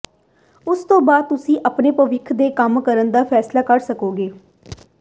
ਉਸ ਤੋਂ ਬਾਅਦ ਤੁਸੀਂ ਆਪਣੇ ਭਵਿੱਖ ਦੇ ਕੰਮ ਕਰਨ ਦਾ ਫੈਸਲਾ ਕਰ ਸਕੋਗੇ